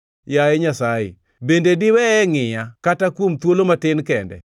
Yaye Nyasaye, bende diweye ngʼiya, kata kuom thuolo matin kende?